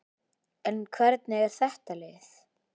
En hvernig er þetta lið?